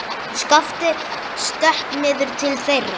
Skapti stökk niður til þeirra.